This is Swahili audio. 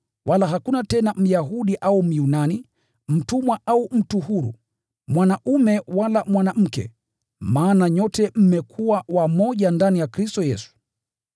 Wala hakuna tena Myahudi au Myunani, mtumwa au mtu huru, mwanaume wala mwanamke, maana nyote mmekuwa wamoja ndani ya Kristo Yesu.